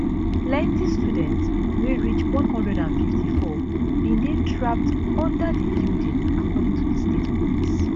plenti students wey reach 154 bin dey trapped under di building according to di state police